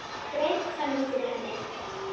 Greip fram í fyrir henni.